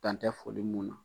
Dan tɛ foli mun na